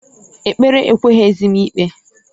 Ekpere ekweghizi m ikpe.